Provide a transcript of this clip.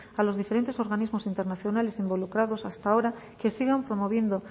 a los diferentes organismos internacionales involucrados hasta ahora que sigan promoviendo